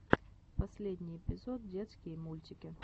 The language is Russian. последний эпизод детские мультики